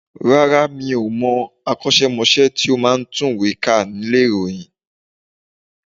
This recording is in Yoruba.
Rárá mi ò mọ akọ́ṣẹ́mọṣẹ́ tí ó máa ń tùwèé kà nílé ìròyìn